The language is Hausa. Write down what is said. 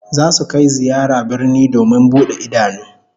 Zasu kai ziyara birni domin bude idanu